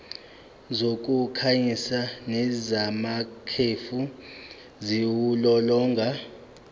zokukhanyisa nezamakhefu ziwulolonga